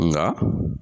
Nka